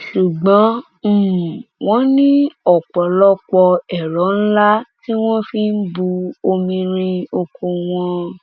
ṣùgbọn um wọn ní ọpọlọpọ ẹrọ ńlá ńlá tí wọn fi ń bu um omi rin oko wọn